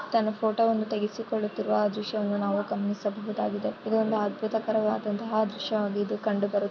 ತನ್ನ ಫೋಟೋ ವನ್ನು ತೆಗೆಸಿ ಕೊಳ್ಳುತ್ತಿರುವ ದೃಶ್ಯವನ್ನು ನಾವು ಗಮನಿಸಬಹುದಾಗಿದೆ ಇದು ಒಂದು ಅದ್ಭುತ ಕರವಾದಂತಹ ದೃಶ್ಯವಾಗಿ ಕಂಡುಬರುತ್ತದೆ.